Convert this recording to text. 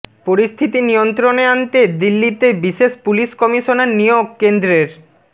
পরিস্থিতি নিয়ন্ত্রণে আনতে দিল্লিতে বিশেষ পুলিশ কমিশনার নিয়োগ কেন্দ্রের